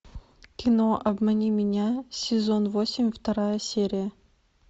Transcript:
кино обмани меня сезон восемь вторая серия